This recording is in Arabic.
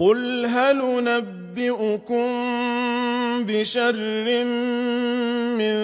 قُلْ هَلْ أُنَبِّئُكُم بِشَرٍّ مِّن